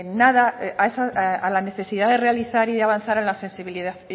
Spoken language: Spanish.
a la necesidad de realizar y de avanzar en la